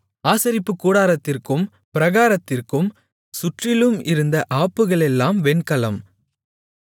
ஆசரிப்புக்கூடாரத்திற்கும் பிராகாரத்திற்கும் சுற்றிலும் இருந்த ஆப்புகளெல்லாம் வெண்கலம்